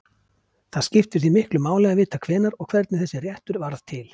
Það skiptir því miklu máli að vita hvenær og hvernig þessi réttur varð til.